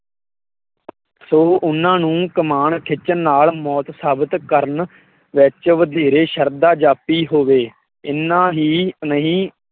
ਸੋ ਉਹਨਾਂ ਨੂੰ ਕਮਾਨ ਖਿੱਚਣ ਨਾਲ ਮੋਤ ਸਾਬਿਤ ਕਰਨ ਵਿੱਚ ਵਧੇਰੇ ਸ਼ਰਧਾ ਜਾਪੀ ਹੋਵੇ। ਏਨਾ ਹੀ ਨਹੀਂ